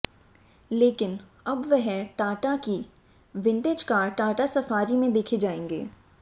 लेकिन अब वह टाटा की विंटेज कार टाटा सफारी में देखे जाएंगे